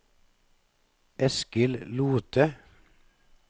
Eskil Lothe